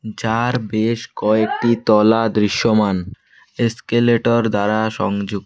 যার বেশ কয়েকটি তলা দৃশ্যমান এস্কেলেটর দ্বারা সংযু--